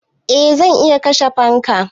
Eh zan iya kashe fanka.